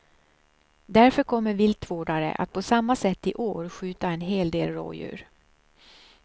Därför kommer viltvårdare att på samma sätt i år skjuta en hel del rådjur.